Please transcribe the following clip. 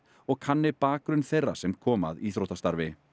og kanni bakgrunn þeirra sem koma að íþróttastarfi